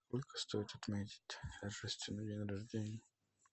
сколько стоит отметить день рождения